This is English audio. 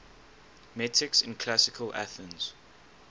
metics in classical athens